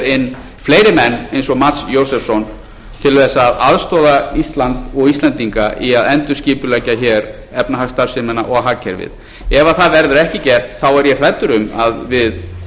menn eins og mats josefsson til þess að aðstoða ísland og íslendinga í að endurskipuleggja efnahagsstarfsemina og hagkerfið ef það verður ekki gert er ég hræddur um að við